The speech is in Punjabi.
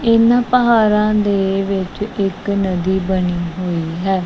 ਇਹਨਾ ਪਹਾੜਾਂ ਦੇ ਵਿੱਚ ਇੱਕ ਨਦੀ ਬਣੀ ਹੋਈ ਹੈ।